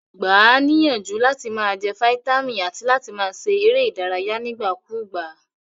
Gba a níyànjú làti ma je vitamin àti láti ma se eré ìdárayé nígbà kúgbà